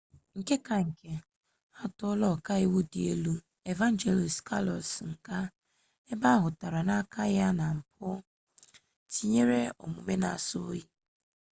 nke ka nke atuola oka-iwu di elu evangelos kalousis nga ebe ahutara na aka ya na mpu tinyere omume na aso-oyi